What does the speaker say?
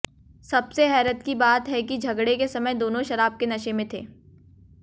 सबसे हैरत की बात है कि झगड़े के समय दोनों शराब के नशे में थे